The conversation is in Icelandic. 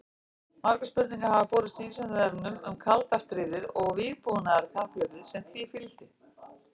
Margar spurningar hafa borist Vísindavefnum um kalda stríðið og vígbúnaðarkapphlaupið sem því fylgdi.